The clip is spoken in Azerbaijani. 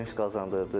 Sevinc qazandırdı.